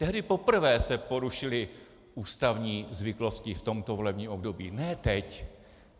Tehdy poprvé se porušily ústavní zvyklosti v tomto volebním období, ne teď.